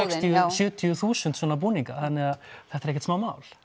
sjötíu þúsund svona búninga þannig að þetta er ekkert smámál